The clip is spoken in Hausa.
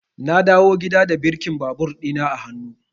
Na dawo gida da birkin babur ɗina a hannu.